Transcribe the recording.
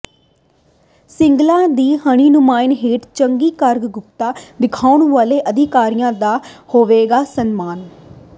ਸਿੰਗਲਾ ਦੀ ਰਹਿਨੁਮਾਈ ਹੇਠ ਚੰਗੀ ਕਾਰਗੁਜ਼ਾਰੀ ਦਿਖਾਉਣ ਵਾਲੇ ਅਧਿਕਾਰੀਆਂ ਦਾ ਹੋਵੇਗਾ ਸਨਮਾਨ